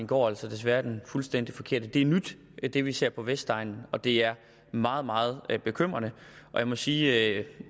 går desværre i den fuldstændig forkerte retning det er nyt det vi ser på vestegnen og det er meget meget bekymrende jeg må sige at